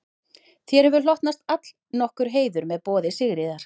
Þér hefur hlotnast allnokkur heiður með boði Sigríðar